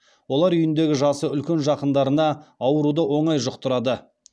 олар үйіндегі жасы үлкен жақындарына ауруды оңай жұқтырады